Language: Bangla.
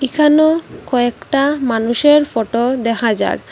এখানো কয়েকটা মানুষের ফটো দেখা যার--